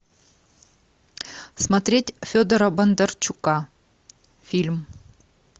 смотреть федора бондарчука фильм